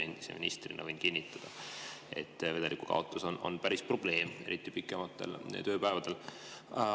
Endise ministrina võin kinnitada, et vedelikukaotus on päris probleem, eriti pikematel tööpäevadel.